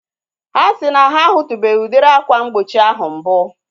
Ha si na ha a hutubeghi udiri akwa mgbochi ahu mbu